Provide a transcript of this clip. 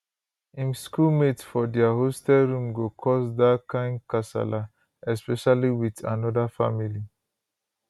im school mates for dia hostel room go cause dia kain kasala especially wit anoda family